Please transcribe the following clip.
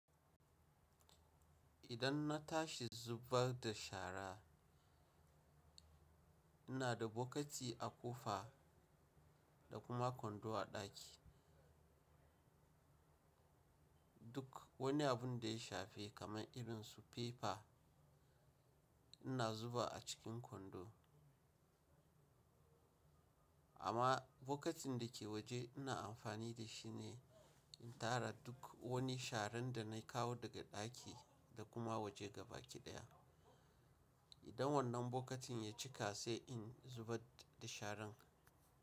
Idan na tashi zubar da shara, ina da bokati a ƙofa da kuma kwando a ɗaki. Duk wani abun da ya shafe kamar irin su paper ina zuba a cikin kwando. Amma bokatin da ke waje ina amfani da shi ne in tara duk wani sharan da na kawo daga ɗaki da kuma waje gabaɗaya. Idan wannan bokatin ya cika sai in zubar da sharan.